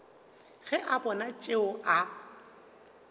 ge a bona tšeo a